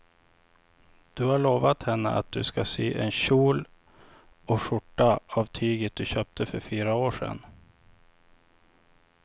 Du har lovat henne att du ska sy en kjol och skjorta av tyget du köpte för fyra år sedan.